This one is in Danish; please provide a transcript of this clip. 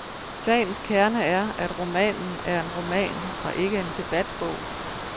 Sagens kerne er, at romanen er en roman og ikke en debatbog.